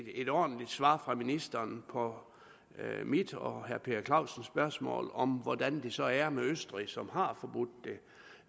et ordentligt svar fra ministeren på mit og herre per clausens spørgsmål om hvordan det så er med østrig som har forbudt det